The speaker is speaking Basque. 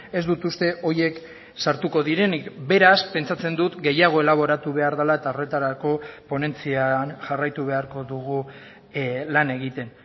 ez dut uste horiek sartuko direnik beraz pentsatzen dut gehiago elaboratu behar dela eta horretarako ponentzian jarraitu beharko dugu lan egiten